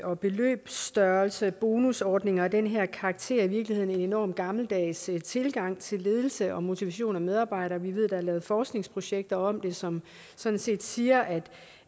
og beløbsstørrelse og bonusordninger af den her karakter i virkeligheden en enormt gammeldags tilgang til ledelse og motivation af medarbejdere vi ved der er lavet forskningsprojekter om det som sådan set siger at